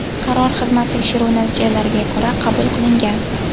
Qaror xizmat tekshiruvi natijalariga ko‘ra qabul qilingan.